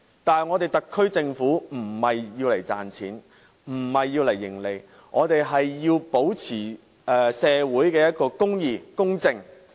但是，特區政府並非要賺錢，並非要謀利，我們要保持社會公義和公正。